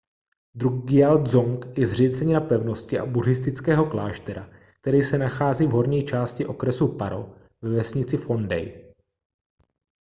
drukgyal dzong je zřícenina pevnosti a buddhistického kláštera která se nachází v horní části okresu paro ve vesnici phondey